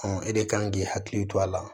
e de kan k'i hakili to a la